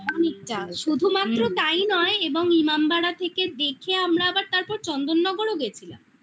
অনেকটাই শুধুমাএ তাই নয় এবং ইমামবাড়া থেকে দেখে আমরা আবার তারপর চন্দননগরও গেছিলাম